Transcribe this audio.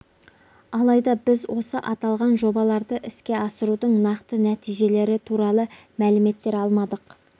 алайда біз осы аталған жобаларды іске асырудың нақты нәтижелері туралы мәліметтер алмадық